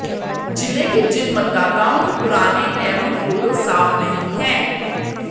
जिले के जिन मतदाताओं के पुराने एवं फोटो साफ नहीं हैं